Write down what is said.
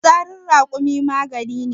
fitsarin rakumi magani ne